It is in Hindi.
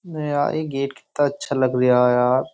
नया एक गेट कित्ता अच्छा लग रिया है यहाँ।